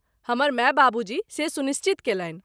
हमर माय बाबूजी से सुनिश्चित कयलनि